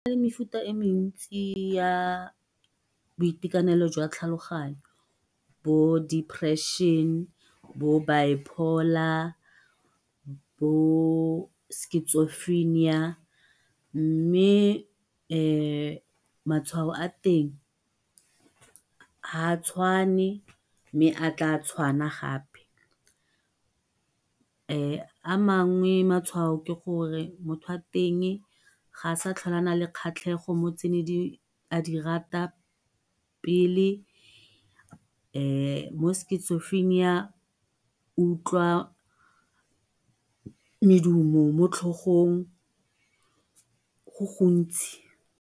Go nale mefuta e mentsi ya boitekanelo jwa tlhaloganyo bo-depression, bo-bipolar, bo-schizophrenia mme matshwao a teng ha a tshwane mme a tla a tshwana gape. a mangwe matshwao ke gore motho wa teng ga a sa tlhole a na le kgatlhego mo go tse ne a di rata pele bo-schizophrenia o utlwa medumo mo tlhogong go gontsi.